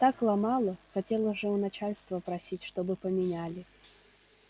так ломало хотел уже у начальства просить чтобы поменяли